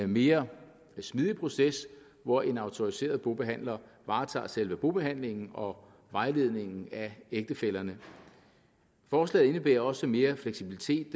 mere smidig proces hvor en autoriseret bobehandler varetager selve bobehandlingen og vejledningen af ægtefællerne forslaget indebærer også mere fleksibilitet